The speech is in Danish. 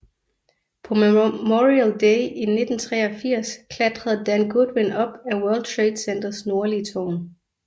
På Memorial Day i 1983 klatrede Dan Goodwin op ad World Trade Centers nordlige tårn